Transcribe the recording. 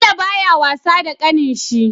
Bello baya wasa da ƙanin shi